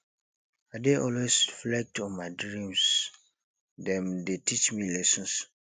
i dey always reflect on my dreams dem dey teach me lessons